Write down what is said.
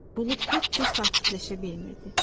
Bulud heç cür sakitləşə bilmirdi.